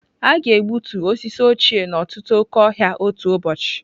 A ga-egbutu osisi ochie n'ọtụtụ oke ọhịa otu ụbọchị.